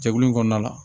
Jɛkulu in kɔnɔna la